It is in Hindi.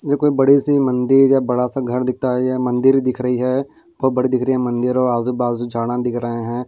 ये कोई बड़ी सी मंदिर या बड़ा सा घर दिखता है या मंदिर दिख रही है बहुत बड़ी दिख रही है मंदिर और आजूबाजू झाड़ें दिख रहे हैं।